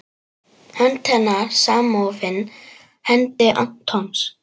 Hönd hennar samofin hendi Antons.